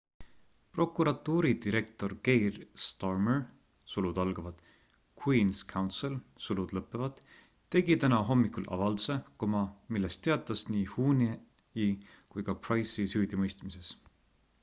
prokuratuuri direktor keir starmer queen's counsel tegi täna hommikul avalduse milles teatas nii huhne’i kui ka pryce’i süüdimõistmisest